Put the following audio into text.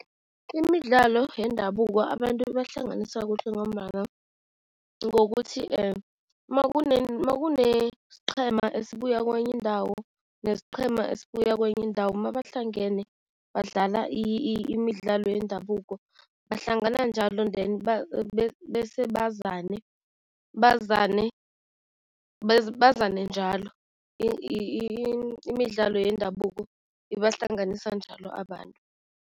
Imidlalo yendabuko, abantu ibahlanganisa kuhle ngombana ngokuthi makunesiqhema esibuya kwenye indawo, nesiqhema esibuya kwenye indawo, mabahlangene badlala imidlalo yendabuko, bahlangana njalo then bese bazane, bazane njalo, imidlalo yendabuko ibahlanganisa njalo abantu.